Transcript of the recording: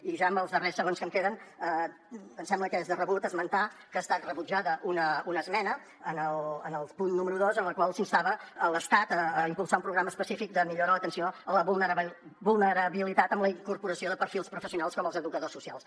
i ja en els darrers segons que em queden em sembla que és de rebut esmentar que ha estat rebutjada una esmena en el punt número dos en la qual s’instava l’estat a impulsar un programa específic de millora a l’atenció a la vulnerabilitat amb la incorporació de perfils professionals com els educadors socials